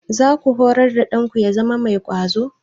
Za ku horar da ɗanku ya zama mai ƙwazo?